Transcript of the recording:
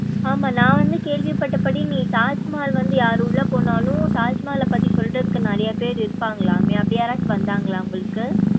ஆமா நா வந்து கேள்வி பட்டப்படி நீ தாஜ்மஹால் வந்து யாரு உள்ள போனாலும் தாஜ்மஹால் பத்தி சொல்றதுக்கு நிறையா பேரு இருபாங்கலாமே அப்படி யாராச்சும் வந்தாங்களா உங்களுக்கு.